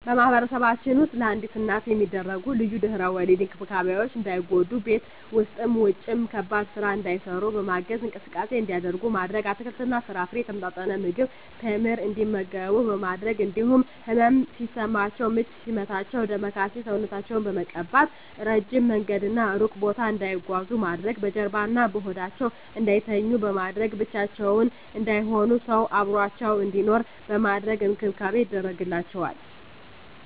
በማህበረሰባችን ውስጥ ለአዲስ እናት የሚደረጉ ልዩ የድህረ ወሊድ እንክብካቤዎች እንዳይጎዱ በቤት ውስጥም ውጭም ከባድ ስራ እንዳይሰሩ በማገዝ፣ እንቅስቃሴ እንዲያደርጉ ማድረግ፣ አትክልትና ፍራፍሬ፣ የተመጣጠነ ምግብ፣ ቴምር እንዲመገቡ በማድረግ እንዲሁም ህመም ሲሰማቸው ምች ሲመታቸው ዳማከሴ ሰውነታቸውን በመቀባት፣ እረጅም መንገድና እሩቅ ቦታ እንዳይጓዙ ማድረግ፣ በጀርባዋ እና በሆዳቸው እንዳይተኙ በማድረግ፣ ብቻቸውን እንዳይሆኑ ሰው አብሮአቸው እንዲኖር በማድረግ እንክብካቤ ይደረግላቸዋል።